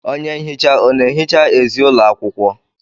Onye nhicha ọ na-ehicha ezi ụlọ akwụkwọ?